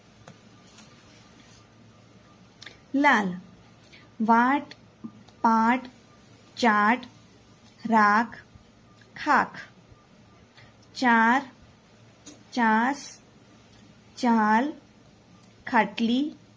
લાલ, વાટ, પાટ, ચાટ, રાખ, ખાખ, ચાર, ચાંસ, ચાલ, ખાટલી